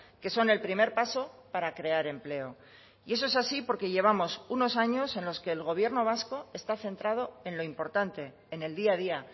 que son el primer paso para crear empleo y eso es así porque llevamos unos años en los que el gobierno vasco está centrado en lo importante en el día a día